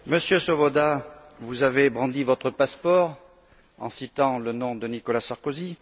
Monsieur Swoboda, vous avez brandi votre passeport en citant le nom de Nicolas Sarkozy.